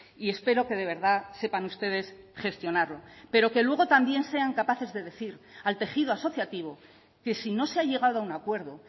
y espero que de verdad sepan ustedes gestionarlo pero que luego también sean capaces de decir al tejido asociativo que si no se ha llegado a un acuerdo